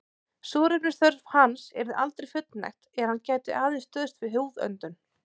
Súrefnisþörf hans yrði aldrei fullnægt er hann gæti aðeins stuðst við húðöndun.